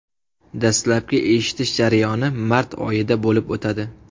Dastlabki eshitish jarayoni mart oyida bo‘lib o‘tadi.